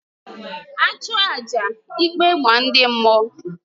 A chụọ àjà ikpe maa ndị mmụọ